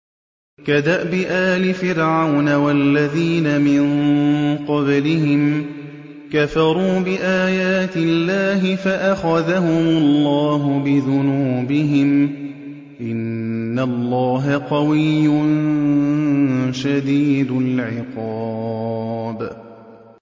كَدَأْبِ آلِ فِرْعَوْنَ ۙ وَالَّذِينَ مِن قَبْلِهِمْ ۚ كَفَرُوا بِآيَاتِ اللَّهِ فَأَخَذَهُمُ اللَّهُ بِذُنُوبِهِمْ ۗ إِنَّ اللَّهَ قَوِيٌّ شَدِيدُ الْعِقَابِ